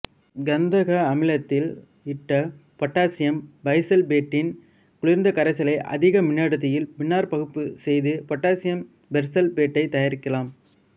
கந்தக அமிலத்தில் இட்ட பொட்டாசியம் பைசல்பேட்டின் குளிர்ந்த கரைசலை அதிக மின்னடர்த்தியில் மின்னாற்பகுப்பு செய்து பொட்டாசியம் பெர்சல்பேட்டைத் தயாரிக்கலாம்